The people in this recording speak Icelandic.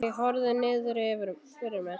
Ég horfi niður fyrir mig.